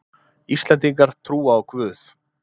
Íslendingar trúa á Guð